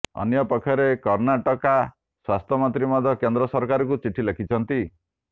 ଅନ୍ୟପକ୍ଷରେ କର୍ଣ୍ଣାଟକା ସ୍ୱାସ୍ଥ୍ୟମନ୍ତ୍ରୀ ମଧ୍ୟ କେନ୍ଦ୍ର ସରକାରଙ୍କୁ ଚିଠି ଲେଖିଛନ୍ତି